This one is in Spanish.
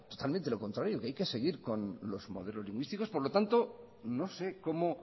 totalmente lo contrario que hay que seguir con los modelos lingüísticos por lo tanto no sé cómo